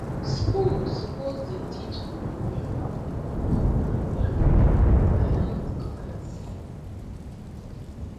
schools suppose dey teach gonorrhea well for gonorrhea well for health class